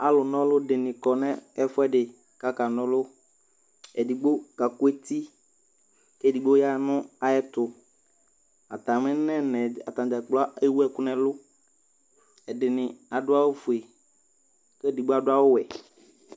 alo n'ɔlò dini kɔ n'ɛfuedi k'aka n'ɔlò edigbo ka kò eti k'edigbo ya no ayɛto atami nɛna atadza kplo ewu ɛkò n'ɛlu ɛdini ado awu fue k'edigbo ado awu wɛ